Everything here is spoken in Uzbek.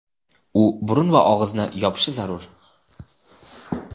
u burun va og‘izni yopishi zarur.